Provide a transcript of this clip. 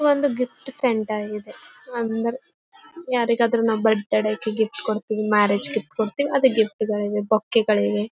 ಒಂದು gift centre ಇದೆ ಯಾರಿಗಾದ್ರೂ ನಮ್ಮ ಬರ್ತ್ ಡೇಗೆ ಗಿಫ್ಟ್ ಕೊಡತ್ತಿವಿ ಮ್ಯಾರೇಜ್ ಗಿಫ್ಟ್ ಕೊಡತ್ತಿವಿ ಅದೇ ಗಿಫ್ಟ್ ಗಳಿವೆ ಬೊಕ್ಕೆಗಳಿವೆ .